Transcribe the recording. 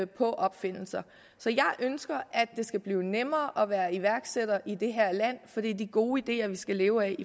på opfindelser så jeg ønsker at det skal blive nemmere at være iværksætter i det her land for det er de gode ideer vi skal leve